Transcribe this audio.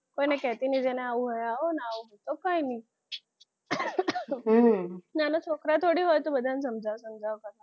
કોઈને કહેતી નહીં જેને આવું હોય આવું ના હોય તો કાંઇ નહી નાના છોકરા થોડી હોય તો કે બધાને સમજાવી કરવાનુ